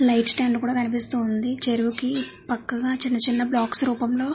light stand కూడా కనిపిస్తుంది చెరువుకి పక్కగా చిన్న చిన్న బ్లాక్స్ రూపంలో --